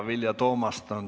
Vilja Toomast on järgmine.